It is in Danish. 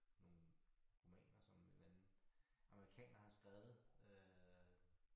Nogle romaner som en eller anden amerikaner har skrevet øh